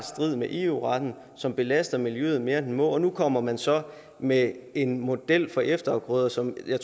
strid med eu retten som belaster miljøet mere end den må og nu kommer man så med en model for efterafgrøder som jeg